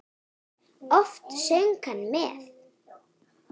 Oft söng hann með.